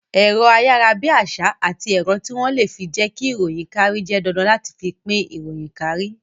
Ẹ̀rọ ayarabiasa àti ẹ̀rọ tí wón le fi jẹ ki ìròyìn kárí jẹ́ dandan láti fi pín ìròyìn kárí